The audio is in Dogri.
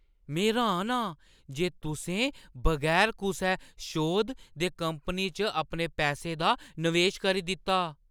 में र्‌हान आं जे तुसें बगैर कुसै शोध दे कंपनी च अपने पैसे दा नवेश करी दित्ता।